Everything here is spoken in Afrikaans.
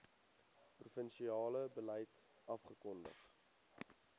provinsiale beleid afgekondig